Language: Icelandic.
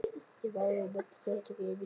Ég hef áður nefnt þátttöku mína í starfi